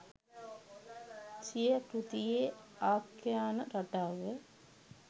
සිය කෘතියේ ආඛ්‍යාන රටාව